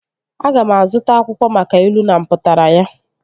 Aga m azụta akwụkwọ maka ilu na mpụtara ya